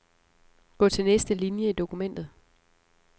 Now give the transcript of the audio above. Gå til næste linie i dokumentet.